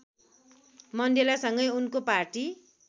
मण्डेलासँगै उनको पार्टी